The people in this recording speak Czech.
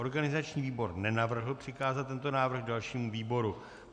Organizační výbor nenavrhl přikázat tento návrh dalšímu výboru.